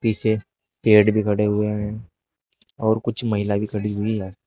पीछे पेड़ भी खड़े हुए हैं और कुछ महिला भी खड़ी हुई हैं।